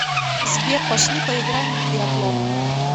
сбер пошли поиграем в биатлон